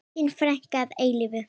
Þín frænka að eilífu.